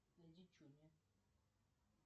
найди чуня